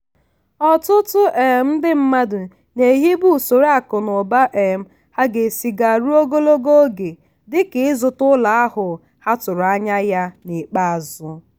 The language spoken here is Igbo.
ọtụtụ um ndị mmadụ na-ehibe usoro akụ na ụba um ha ga esi gaa ruo ogologo oge dịka ịzụta ụlọ ahụ ha tụrụ anya ya n'ikpeazụ.